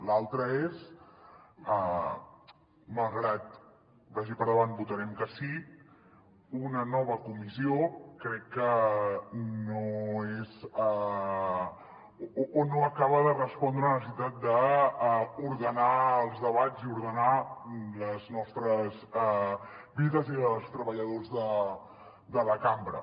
l’altra és malgrat que vagi per davant que votarem que sí una nova comissió crec que no és o no acaba de respondre a la necessitat d’ordenar els debats i ordenar les nostres vides i les dels treballadors de la cambra